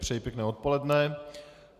Přeji pěkné odpoledne.